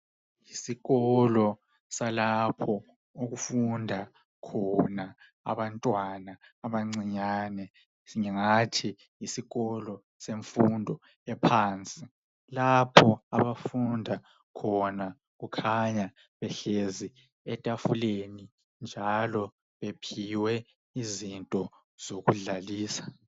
Isikolo esifunda abantwana abancinyane engingathi yisikolo semfundo ephansi lapho abafunda behlezi etafuleni njalo bephiwe izinto zokudlalisa.